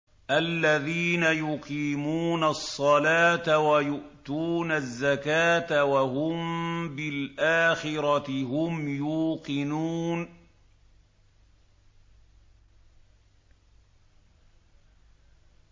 الَّذِينَ يُقِيمُونَ الصَّلَاةَ وَيُؤْتُونَ الزَّكَاةَ وَهُم بِالْآخِرَةِ هُمْ يُوقِنُونَ